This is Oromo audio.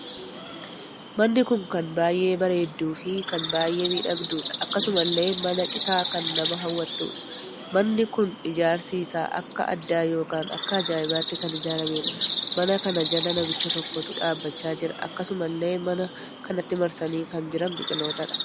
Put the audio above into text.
Manni kun kan baay'ee bareedduu fi kan baay'ee miidhagduudha. akkasumallee mana citaa kan nama hawwattudha. manni kun ijaarsi isaa akka addaa ykn akka ajaa'ibaatti kan ijaarameedha. mana kana jala namicha tokkotu dhaabbachaa jira. akkasumallee mana kanatti marsanii kan jiran biqilootadha.